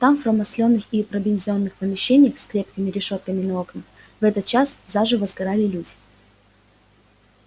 там в промасленных и пробензиненных помещениях с крепкими решётками на окнах в этот час заживо сгорали люди